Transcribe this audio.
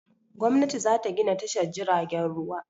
Gwamnati za ta gina tashar jiragen ruwa.